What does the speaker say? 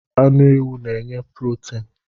Anu ewu n'nye purotin